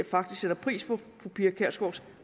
faktisk pris på fru pia kjærsgaards